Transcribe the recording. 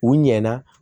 U ɲɛna